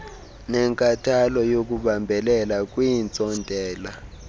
nenkathalo yokubambelela kwiintsontela